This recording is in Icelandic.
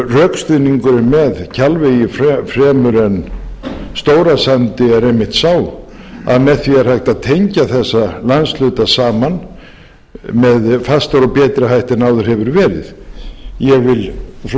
rökstuðningurinn með kjalvegi fremur en stórasandi er einmitt sá að með því er hægt að tengja þessa landshluta saman með fastari og betri hætti en áður hefur verið ég vil frú forseti